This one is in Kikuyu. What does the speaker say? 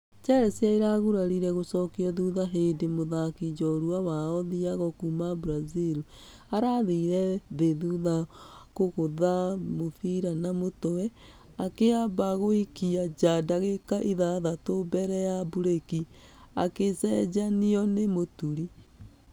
Chelsea ĩragurarire gũcokio thutha hĩndĩ mũthaki njorua wao thiago kuuma brazil arathire thĩ thutha wa kũgũtha mũbira na mũtwe . Akĩambq agĩikqra njaa dagĩka ithathatũ mbere ya breki , akĩcenjqnio nĩ mũturi.